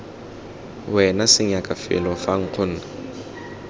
wena senyaka felo fa nkgonne